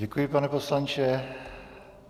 Děkuji, pane poslanče.